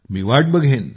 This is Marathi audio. मी वाट बघेन